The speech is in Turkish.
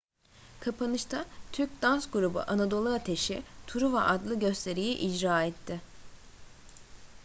kapanışta türk dans grubu anadolu ateşi truva adlı gösteriyi icra etti